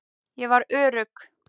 Ég var örugg.